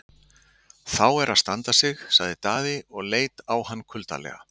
Þá er að standa sig, sagði Daði og leit á hann kuldalega.